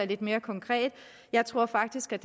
lidt mere konkret jeg tror faktisk at